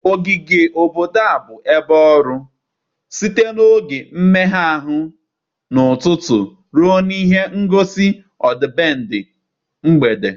ogige obodo ahụ bụ ebe ọrụ, site n 'oge mmega ahụ n' ụtụtụ ruo n 'ihe ngosi ọdịbendị mgbede.